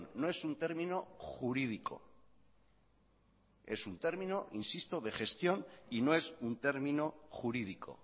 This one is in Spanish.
no es un término jurídico es un término insisto de gestión y no es un término jurídico